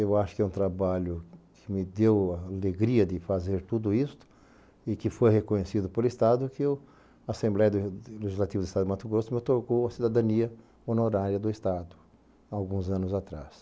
Eu acho que é um trabalho que me deu a alegria de fazer tudo isso e que foi reconhecido por Estado que a Assembleia Legislativa do Estado de Mato Grosso me otorgou a cidadania honorária do Estado, há alguns anos atrás.